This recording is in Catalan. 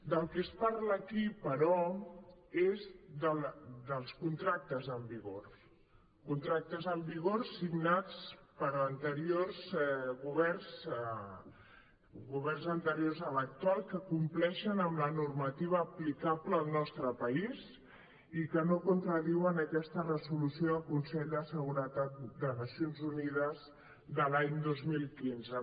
del que es parla qui però és dels contractes en vigor contractes en vigor signats per anteriors governs governs anteriors a l’actual que compleixen amb la normativa aplicable al nostre país i que no contradiuen aquesta resolució del consell de seguretat de nacions unides de l’any dos mil quinze